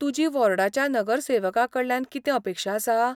तुजी वॉर्डाच्या नगरसेवकाकडल्यान कितें अपेक्षा आसा?